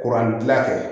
Kuran dilan kɛ